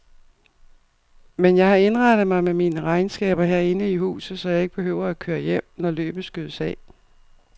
Men jeg har indrettet mig med mine regnskaber herinde i huset, så jeg ikke behøver at køre hjem, når løbet skydes af.